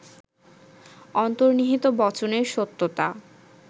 অন্তর্নিহিত বচনের সত্যতা